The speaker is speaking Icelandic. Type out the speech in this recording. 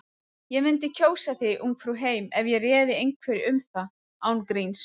Ég mundi kjósa þig Ungfrú heim ef ég réði einhverju um það. án gríns.